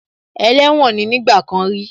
Ẹlẹ́wọ̀n ní nígbà kan rí